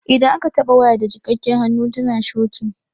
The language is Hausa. Idan aka taɓa waya da jikakken hannu tana shokin.